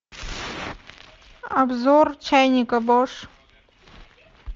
обзор чайника бош